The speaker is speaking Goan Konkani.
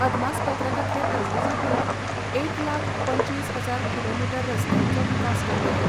अदमासपत्रकांतले तजवीजे प्रमाण एक लाख पंचवीस हजार किलोमिटर रसत्यांचो विकास करतले.